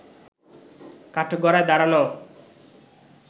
কাঠগড়ায় দাঁড়ানো